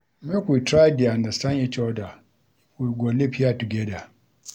Make we try dey understand each oda if we go live here togeda.